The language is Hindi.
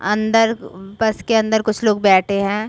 अंदर उ बस के अंदर कुछ लोग बैठे है।